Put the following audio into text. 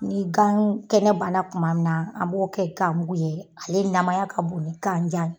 Ni gan kɛnɛ bana kuma min na, an b'o kɛ gan mugu ye, ale namaya ka bon gan jan ye.